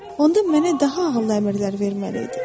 onda mənə daha ağıllı əmrlər verməli idi.